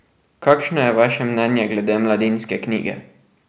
Kakšno je vaše mnenje glede Mladinske knjige?